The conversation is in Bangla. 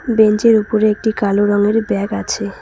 বেঞ্চের উপরে একটি কালো রঙের ব্যাগ আছে।